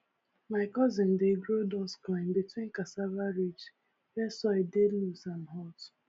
my cousin dey grow dust corn between cassava ridge where soil dey loose and hot